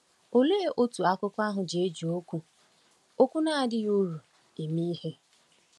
Òlee otú akụkọ ahụ ji eji okwu “ okwu “ na-adịghị uru ” eme ihe?